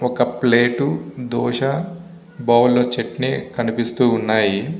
ఒక plate dosa bowl లో చట్నీ కనిపిస్తూ ఉన్నాయి.